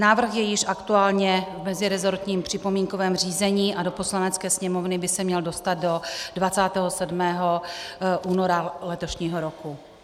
Návrh je již aktuálně v meziresortním připomínkovém řízení a do Poslanecké sněmovny by se měl dostat do 27. února letošního roku.